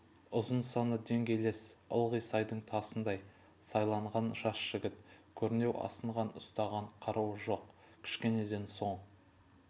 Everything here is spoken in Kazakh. ұзын саны деңгейлес ылғи сайдың тасындай сайланған жас жігіт көрнеу асынған ұстаған қаруы жоқ кішкенеден соң